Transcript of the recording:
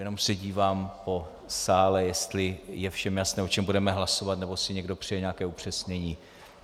Jenom se dívám po sále, jestli je všem jasné, o čem budeme hlasovat, nebo si někdo přeje nějaké upřesnění.